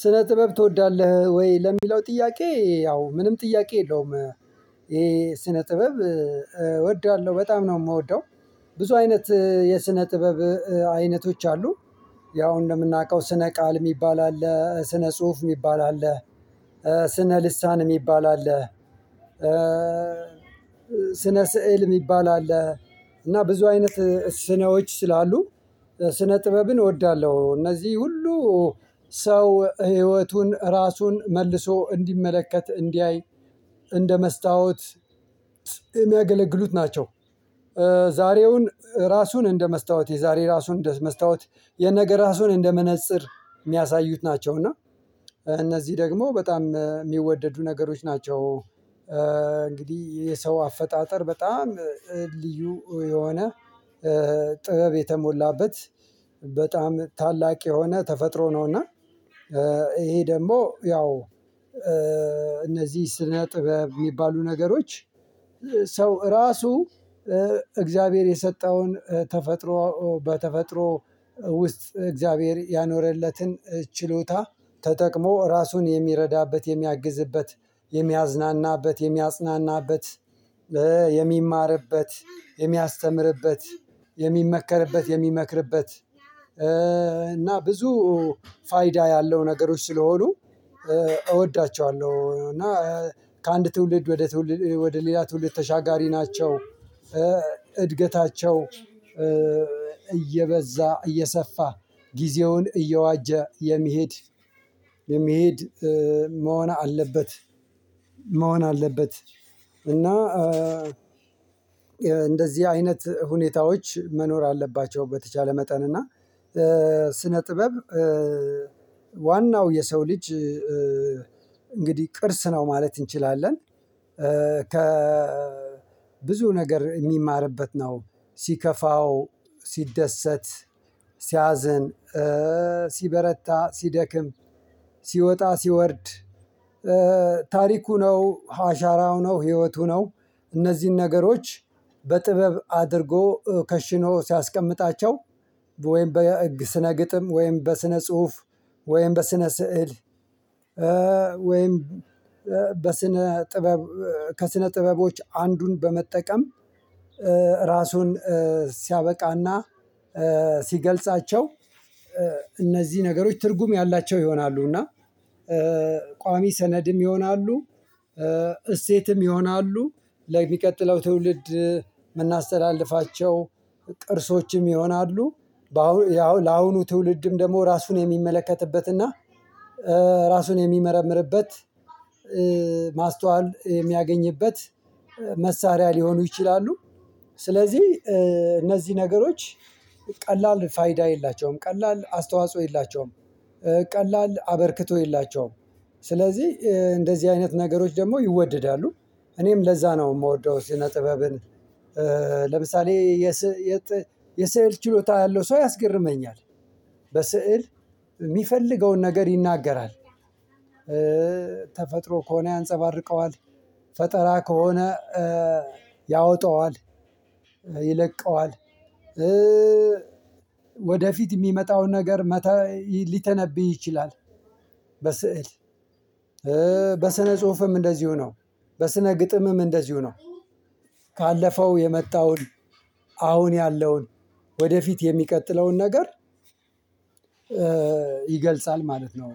ስነ ጥበብ ትወዳለህ ወይ? ለሚለው ጥያቄ ያው ምንም ጥያቄ የለውም ይሄ ስነ ጥበብ እወድዳለሁ በጣም ነው የምወደው። ብዙ አይነት የስነ ጥበብ አይነቶች አሉ ያው እንደምናውቀው ስነ ቃል የሚባል አለ። ስነ ጽሁፍ የሚባል አለ። ስነ ልሳን የሚባል አለ። ስነ ስዕል የሚባል አለ። እና ብዙ አይነት ስነዎች ስላሉ ስነ ጥበብን እወዳለሁ። እነዚህ ሁሉ ሰው ህይወቱን ራሱን መልሶ እንዲመለከት እንዲያይ እንደ መስታወት የሚያገለግሉት ናቸው። ዛሬውን ራሱን እንደ መስታወት የዛሬ ራሱን እንደ መስታወት የነገ ራሱን እንደመነጽር የሚያሳዩት ናቸው። እና እነዚህ ደግሞ በጣም ሚወደዱ ነገሮች ናቸው። እንግዲህ የሰው አፈጣጠር በጣም ልዩ የሆነ ጥበብ የተሞላበት በጣም ታላቅ የሆነ ተፈጥሮ ነውና። ይሄ ደግሞ ያው እነዚህ ስነ ጥበብ ሚባሉ ነገሮች ሰው ራሱ እግዚአብሔር የሰጠውን ተፈጥሮ በተፈጥሮ ውስጥ እግዚአብሔር ያኖረለትን ችሎታ ተጠቅሞ ራሱን የሚረዳበት የሚያግዝበት የሚያዝናናበት የሚያጽናናበት የሚማርበት የሚያስተምርበት የሚመከርበት የሚመክርበት። እና ብዙ ፋይዳ ያለው ነገሮች ስለሆኑ እወዳቸዋለሁ እና ከአንድ ትውልድ ወደ ትውልድ ወደ ሌላ ትውልድ ተሻጋሪ ናቸው። እድገታቸው እየበዛ እየሰፋ ጊዜውን እየዋጀ የሚሄድ መሆን አለበት መሆን አለበት። እና እንደዚህ አይነት ሁኔታዎች መኖር አለባቸው በተቻለ መጠን እና ስነ ጥበብ ዋናው የሰው ልጅ እንግዲህ ቅርስ ነው ማለት እንችላለን። ብዙ ነገር የሚማርበት ነው። ሲከፋው ሲደሰት ሲያዝን ሲበረታ ሲደክም ሲወጣ ሲወርድ ታሪኩ ነው አሻራው ነው ህይወቱ ነው። እነዚህን ነገሮች በጥበብ አድርጎ ከሽኖ ሲያስቀምጣቸው ወይም ስነ ግጥም ወይም በስነ ጽሁፍ ወይም በስነ ስዕል ወይም በስነ ጥበብ ከስነ ጥበቦች አንዱን በመጠቀም ራሱን ሲያበቃና ሲገልጻቸው እነዚህ ነገሮች ትርጉም ያላቸው ይሆናሉ እና ቋሚ ሰነድም ይሆናሉ። እሴትም ይሆናሉ ለሚቀጥለው ትውልድ የምናስተላልፋቸው ቅርሶችም ይሆናሉ። ለአሁኑ ትውልድም ደግሞ ራሱን የሚመለከትበትና ራሱን የሚመረምርበት ማስተዋል የሚያገኝበት መሳሪያ ሊሆኑ ይችላሉ። ስለዚህ እነዚህ ነገሮች ቀላል ፋይዳ የላቸውም ቀላል አስተዋጽኦ የላቸውም። ቀላል አበርክቶ የላቸውም ስለዚህ እንደዚህ አይነት ነገሮች ደግሞ ይወደዳሉ። እኔም ለዛ ነው የምወደው የነ ጥበብን። ለምሳሌ የስዕል ችሎታ ያለው ሰው ያስገርመኛል። በስዕል የሚፈልገውን ነገር ይናገራል። ተፈጥሮ ከሆነ ያንፀባርቀዋል ፈጠራ ከሆነ ያወጣዋል ይለቀዋል ወደፊት የሚመጣው ነገር ሊተነብይ ይችላል። በስዕል በስነ ጽሁፍም እንደዚሁ ነው በስነ ግጥምም እንደዚሁ ነው። ካለፈው የመጣውን አሁን ያለውን ወደፊት የሚቀጥለውን ነገር ይገልጻል ማለት ነው።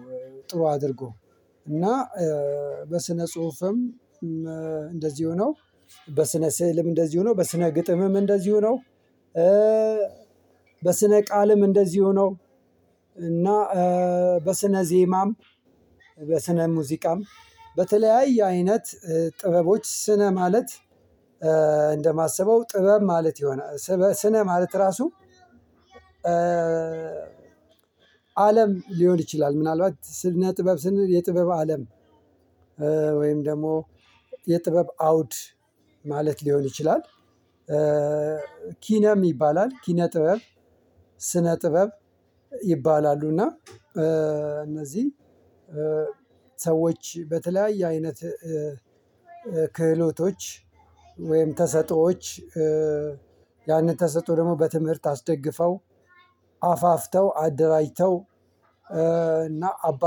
ጥሩ አድርጎ እና በስነ ጽሁፍም እንደዚሁ ነው። በስነ ስዕልም እንደዚሁ ነው በስነ ግጥምም እንደዚሁ ነው። በስነ ቃልም እንደዚሁ ነው። እና በስነ ዜማም በስነ ሙዚቃም በተለያይ አይነት ጥበቦች ስነ ማለት እንደማሰበው ጥበብ ማለት ይሆናል ስነ ማለት ራሱ አለም ሊሆን ይችላል ምናልባት ስነ ጥበብ ስነ የጥበብ አለም ወይም ደግሞ የጥበብ አውድ ማለት ሊሆን ይችላል። ኪነ ይባላል ኪነ ጥበብ ስነ ጥበብ ይባላሉና እና። እነዚህን ሰዎች በተለያዩ አይነት ክህሎቶች ወይም ተሰጦዎች ያንን ተሰጦ ደግሞ በትምህርት አስደግፈው አፋፍተው አደራጅተው እና አባ